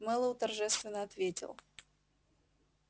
мэллоу торжественно ответил